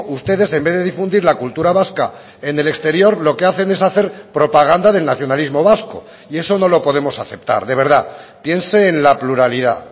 ustedes en vez de difundir la cultura vasca en el exterior lo que hacen es hacer propaganda del nacionalismo vasco y eso no lo podemos aceptar de verdad piense en la pluralidad